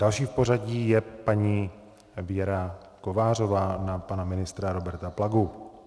Další v pořadí je paní Věra Kovářová - na pana ministra Roberta Plagu.